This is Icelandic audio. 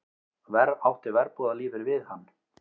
Verr átti verbúðarlífið við hann.